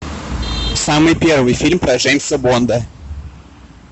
самый первый фильм про джеймса бонда